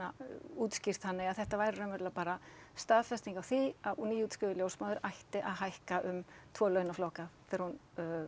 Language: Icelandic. útskýrt þannig að þetta væri raunverulega bara staðfesting á því að nýútskrifuð ljósmóðir ætti að hækka um tvo launaflokka þegar hún